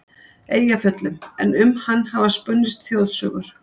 Eyjafjöllum, en um hann hafa spunnist þjóðsögur.